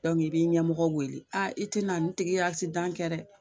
Dɔnku i b'i ɲɛmɔgɔ wele aa i te na nin tigi ye asidan kɛ dɛ